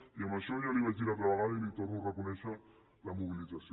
i en això ja li ho vaig dir l’altra vegada li torno a reconèixer la mobilització